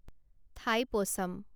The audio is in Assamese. ঠাইপোচাম